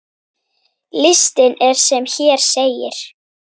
Listinn er sem hér segir